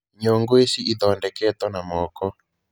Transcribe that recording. Nyũngũ ici ithondeketwo na moko.